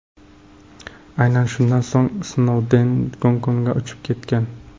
Aynan shundan so‘ng Snouden Gongkongga uchib ketgan.